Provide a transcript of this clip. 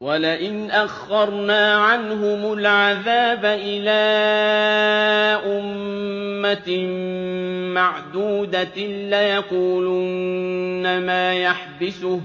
وَلَئِنْ أَخَّرْنَا عَنْهُمُ الْعَذَابَ إِلَىٰ أُمَّةٍ مَّعْدُودَةٍ لَّيَقُولُنَّ مَا يَحْبِسُهُ ۗ